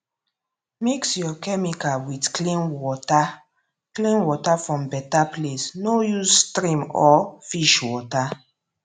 mix your chemical with clean water clean water from better place no use stream or fish water